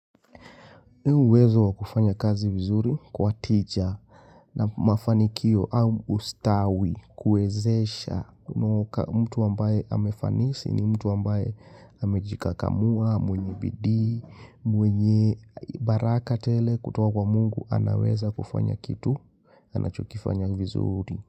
Uwezo wa kufanya kazi vizuri kwa tija na mafanikio au ustawi kuwezesha mtu ambaye amefanisi ni mtu ambaye amejikakamua, mwenye bidii, mwenye baraka tele kutowa kwa mungu anaweza kufanya kitu, anachokifanya vizuri.